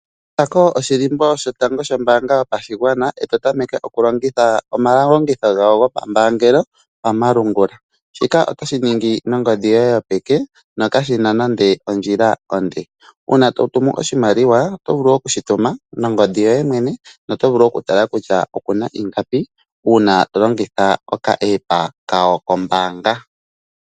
Kutha ko oshilimbo shotango shombaanga yotango yopashigwana, eto ta meke oku longitha omalongitho gawo go pa mbaangelo pamalungula. Shika oto shi ningi nongodhi yoye yopeke no ka shina nande ondjila onde. Uuna to tumu oshimaliwa, oto vulu oku shi tuma nongodhi yoye mwene noto vulu oku tala kutya okuna ingapi uuna to longitha oka App kawo kombaanga.